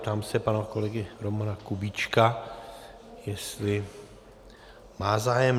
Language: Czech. Ptám se pana kolegy Romana Kubíčka, jestli má zájem.